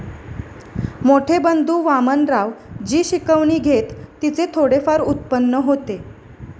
मोठे बंधू वामनराव जी शिकवणी घेत तिचे थोडेफार उत्पन्न होते.